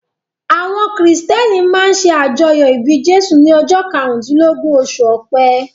Àwọn Kìrìtẹ̀ẹ́nì máa ń ṣe àjọyọ̀ ìbí Jésù ní ọjọ́ karùndílógún, oṣù Ọpẹ́.